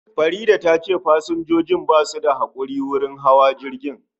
Faridah tace pasanjojin basu da hakuri wurin hawa jirgin